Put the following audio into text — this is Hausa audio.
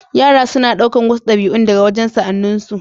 Yara suna ɗaukar wasu ɗabi'un daga wajen sa'anninsu.